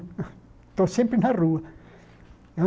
Estou sempre na rua.